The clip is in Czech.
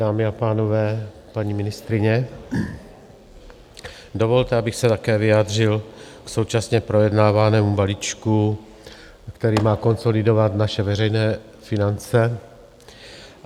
Dámy a pánové, paní ministryně, dovolte, abych se také vyjádřil k současně projednávanému balíčku, který má konsolidovat naše veřejné finance.